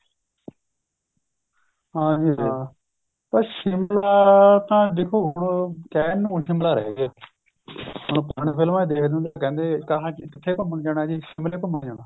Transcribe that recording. ਹਾਂ ਜੀ ਹਾਂ ਪਰ ਸ਼ਿਮਲਾ ਤਾਂ ਦੇਖੋ ਹੁਣ ਕਹਿਣ ਨੂੰ ਸ਼ਿਮਲਾ ਰਿਹ ਗਿਆ ਹੁਣ ਫ਼ਿਲਮਾ ਚ ਦੇਖਦੇ ਹੁੰਦੇ ਸੀ ਕਹਿੰਦੇ ਕਿੱਥੇ ਘੁੰਮਣ ਜਾਣਾ ਜੀ ਸ਼ਿਮਲੇ ਘੁੰਮਣ ਜਾਣਾ